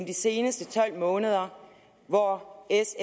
de seneste tolv måneder hvor s